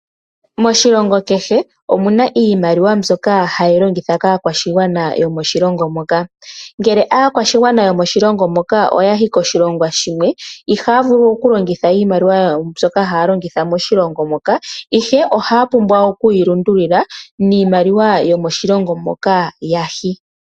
Moshilongo kehe omuna iimaliwa mbyoka hayi longithwa kakaashigwana yomoshilongo moka. Ngele aakwashigwana yomoshilongo moka oya hi koshilongo shimwe ihaya vulu okulongitha iimaliwa yawo mbyoka haya longitha moshilongo moka, ihe oha ya pumbwa okuyi lundulila miimaliwa yomoshilongo moka ya hi.